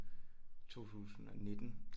2019